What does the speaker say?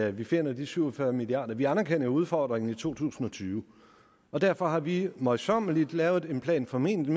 at vi finder de syv og fyrre milliard kroner vi anerkender udfordringen i to tusind og tyve og derfor har vi møjsommeligt lavet en plan formentlig